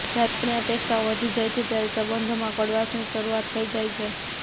જ્યારે આપણી અપેક્ષાઓ વધી જાય છે ત્યારે સંબંધોમાં કડવાશની શરૂઆત થઈ જાય છે